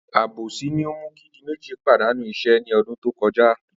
Àbòsí ni ó mú kí Diméjì pàdánù is̩é̩ ní o̩dún tó ko̩já